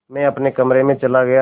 मैं अपने कमरे में चला गया